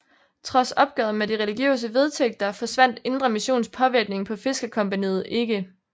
Trods opgøret med de religiøse vedtægter forsvandt Indre Missions påvirkning på Fiskercompagniet ikke